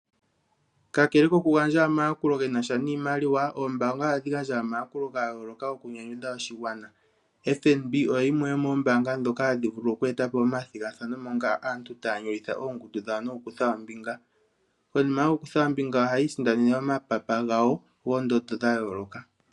Kakekele kokugandja omayakulo ge na sha niimaliwa oombaanga ohadhi gandja omayakulo ga yooloka okunyanyudha oshigwana. FNB oyo yimwe yomoombaanga ndhoka hadhi vulu oku eta po omathigathano moka aantu taya nyolitha oongundu dhawo nokukutha ombinga. Konima yokukutha ombinga ohaya isindanene omapapa gawo goondondo dha yooloka.